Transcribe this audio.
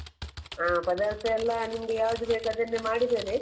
ಹಾ ಪದಾರ್ಥ ಎಲ್ಲ ನಿಮ್ಗೆ ಯಾವುದು ಬೇಕು ಅದನ್ನೇ ಮಾಡಿದ್ದೇನೆ.